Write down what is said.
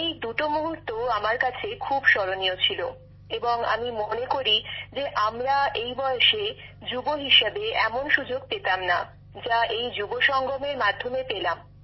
এই দুটি মুহূর্ত আমার কাছে খুব স্মরণীয় ছিল এবং আমি মনে করি যে আমরা এই বয়সে যুবতী হিসেবে এমন সুযোগ পেতামনা যা এই যুবসঙ্গমের মাধ্যমে পেলাম